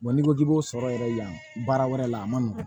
n'i ko k'i b'o sɔrɔ yɛrɛ yan baara wɛrɛ la a ma nɔgɔn